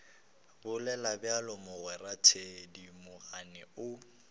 bolela bjalo mogwera thedimogane o